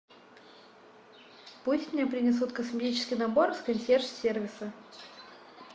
пусть мне принесут косметический набор с консьерж сервиса